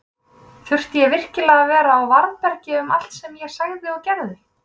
Þurfti ég virkilega að vera á varðbergi um allt sem ég sagði og gerði?